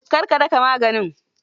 Kar ka daka maganin.